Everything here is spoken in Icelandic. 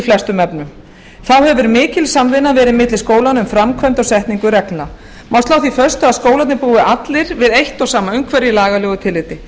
flestum efnum þá hefur mikil samvinna verið milli skólanna um framkvæmd og setningu reglna má slá því föstu að skólarnir búi allir við eitt og sama umhverfi í lagalegu tilliti